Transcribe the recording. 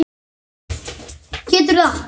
Geturðu allt?